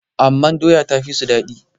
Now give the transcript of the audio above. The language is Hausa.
amma doya ta fi su daɗi